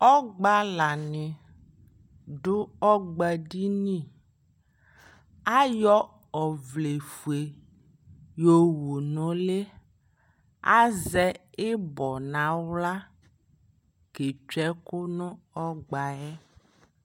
ɔgbalani dʋ ɔgba dini, ayɔ ɔvlɛ ƒʋɛ yɔwʋ nʋ ʋli azɛ ibɔ nʋ ala kʋtwɛ ɛkʋ nʋ ɔgbaɛ